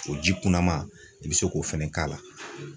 O ji kunaman i bɛ se k'o fɛnɛ k'a la.